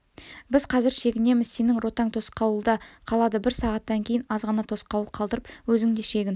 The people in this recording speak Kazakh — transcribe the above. біз қазір шегінеміз сенің ротаң тосқауылда қалады бір сағаттан кейін азғана тосқауыл қалдырып өзің де шегін